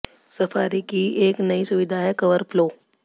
safari की एक नयी सुविधा है कवर फ्लो